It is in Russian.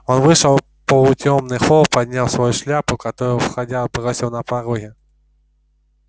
он вышел в полутемный холл поднял свою шляпу которую входя бросил на пороге